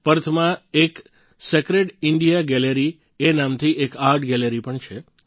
પર્થમાં એક Sacred India Gallery એ નામથી એક આર્ટ ગેલેરી પણ છે